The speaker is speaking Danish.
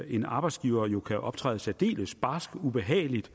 en arbejdsgiver jo kan optræde særdeles barsk og ubehageligt